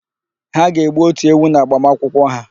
Ha ga-egbu ótù ewu n'agbamakwụkwọ ha.